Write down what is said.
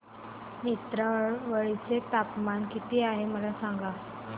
नेत्रावळी चे तापमान किती आहे मला सांगा